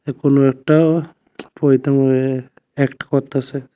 এ কোনো একটা অ্যাক্ট করতাসে।